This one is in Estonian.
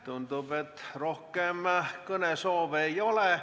Tundub, et rohkem kõnesoove ei ole.